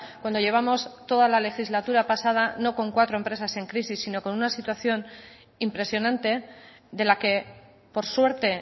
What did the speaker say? cuando llevamos toda la legislatura pasada no con cuatro empresas en crisis si no con una situación impresionante de la que por suerte